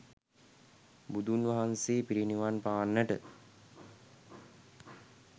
බුදුන් වහන්සේ පිරිනිවන් පාන්නට